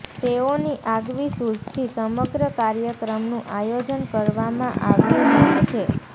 તેઓની આગવી સુઝથી સમગ્ર કાર્યક્રમનું આયોજન કરવામાં આવ્યું હોય છે